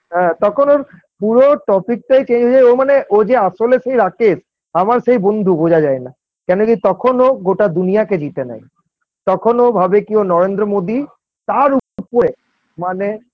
হ্যাঁ তখন ওর পুরো topic -টাই Change হয়ে যায় ও মানে ও যে আসলে সেই রাকেশ আমার সেই বন্ধু বোঝা যায় না কেন যে তখন ও গোটা দুনিয়াকে জিতে নেয় তখন ওভাবে কি ও নরেন্দ্র মোদি, তারও উপরে মানে